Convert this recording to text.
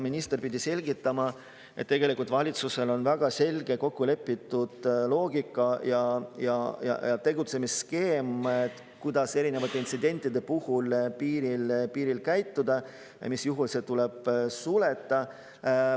Minister pidi selgitama, et valitsusel on väga selge kokkulepitud loogika ja tegutsemisskeem, kuidas erinevate intsidentide puhul piiril käituda ja mis juhul tuleb sulgeda.